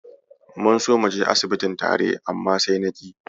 Mun so muje asibitin tare, amma sai na ƙi.